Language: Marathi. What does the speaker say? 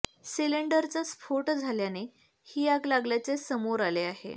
सिलिंडरचा स्फोट झाल्याने ही आग लागल्याचे समोर आले आहे